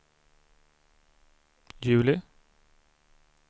juli